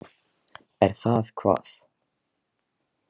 Er það hvað.?